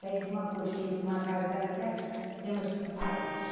Sai de uma colcheira para uma casa daquela, íamos para um palácio.